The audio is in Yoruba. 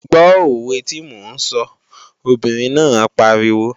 Gbó òwe tí mò ń sọ, obìnrin náà pariwo!